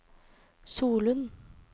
Solund